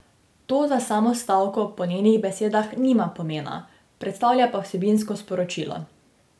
To za samo stavko po njenih besedah nima pomena, predstavlja pa vsebinsko sporočilo.